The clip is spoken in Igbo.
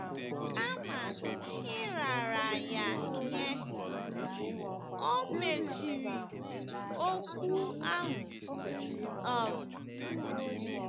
Kama ịrara ya nye, o mechiri okwu ahụ. um